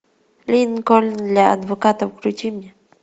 линкольн для адвоката включи мне